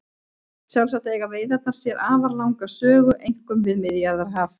Sjálfsagt eiga veiðarnar sér afar langa sögu einkum við Miðjarðarhaf.